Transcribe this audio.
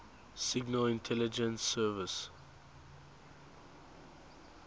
signal intelligence service